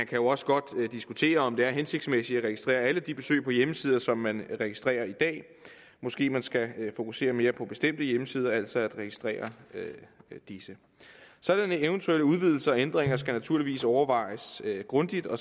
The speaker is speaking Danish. kan jo også godt diskutere om det er hensigtsmæssigt at registrere alle de besøg på hjemmesider som man registrerer i dag måske man skal fokusere mere på bestemte hjemmesider altså på at registrere disse sådanne eventuelle udvidelser og ændringer skal naturligvis overvejes grundigt og